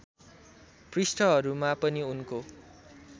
पृष्ठहरूमा पनि उनको